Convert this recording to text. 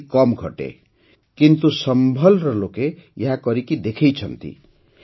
ଏପରି କମ୍ ଘଟେ କିନ୍ତୁ ସମ୍ଭଲ୍ର ଲୋକେ ଏହାକରି ଦେଖାଇଛନ୍ତି